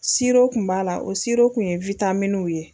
kun b'a la o kun ye ye.